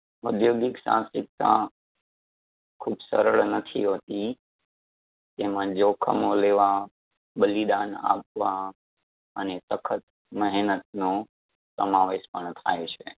ઉધ્યોગિક સાહસિકતા ખૂબ સરળ નથી હોતી તેમાં જોખમો લેવા બલિદાન આપવા અને સખત મહેનતનો સમાવેશ પણ થાય છે